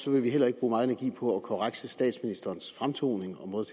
vil vi heller ikke bruge meget energi på at korrekse statsministerens fremtoning og måde